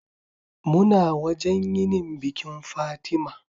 Muna wajan yinin bikin Fatima